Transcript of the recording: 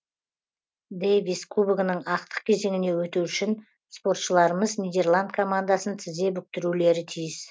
дэвис кубогінің ақтық кезеңіне өту үшін спортшыларымыз нидерланд командасын тізе бүктірулері тиіс